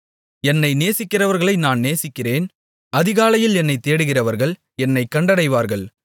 என்னை நேசிக்கிறவர்களை நான் நேசிக்கிறேன் அதிகாலையில் என்னைத் தேடுகிறவர்கள் என்னைக் கண்டடைவார்கள்